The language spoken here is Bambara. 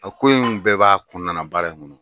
O ko in bɛɛ b'a kunɔnana baara kɔnɔ.